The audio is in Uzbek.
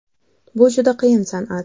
Bu juda qiyin san’at.